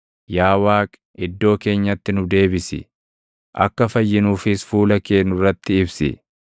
Yaa Waaqi, iddoo keenyatti nu deebisi; akka fayyinuufis fuula kee nurratti ibsi.